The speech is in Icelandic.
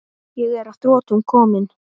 Ég er að þrotum kominn.